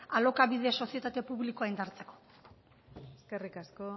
alokabide sozietate publikoa indartzeko eskerrik asko